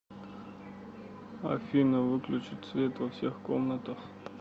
афина выключить свет во всех комнатах